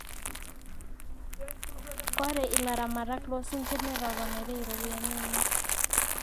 ore ilaramatak loo sinkir netoponaitie iropiyiani enye